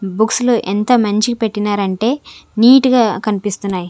Books లో ఎంత మంచిగ్ పెట్టినారంటే నీట్ గా కనిపిస్తున్నాయి.